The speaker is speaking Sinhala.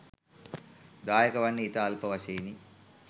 දායක වන්නේ ඉතා අල්ප වශයෙනි